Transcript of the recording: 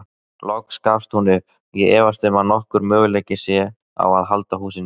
Loks gefst hún upp: Ég efast um að nokkur möguleiki sé á að halda húsinu.